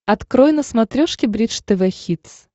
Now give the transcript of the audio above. открой на смотрешке бридж тв хитс